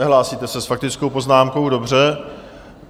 Nehlásíte se s faktickou poznámkou, dobře.